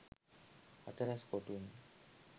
හතරැස් කොටුවෙන්